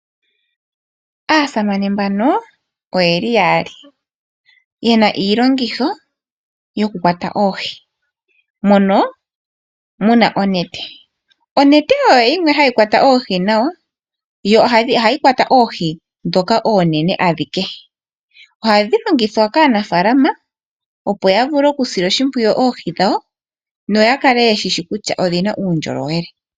Aasamane ye li yali yena iilongitho yo ku kwata oohi ngashi oonete. Onete oyo oshilongithomwa shoka hashi kwata oohi nawa unene tu oohi dhoka oonene. Oonete ohadhi longithwa kaanafalama opo ya vule oku sila oshipwiyu oohi dhawo no ya kale ye shishi kutya odhina uundjolowele.